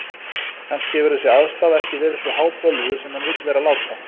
Kannski hefur þessi aðstaða ekki verið svo hábölvuð sem hann vill vera láta.